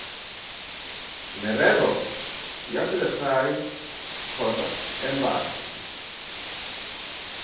merero ya selegae kgotsa embasi